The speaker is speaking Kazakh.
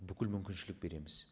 бүкіл мүмкіншілік береміз